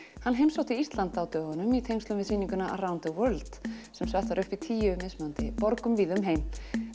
hann heimsótti Ísland á dögunum í tengslum við sýninguna Around the World sem sett var upp í tíu mismunandi borgum víða um heim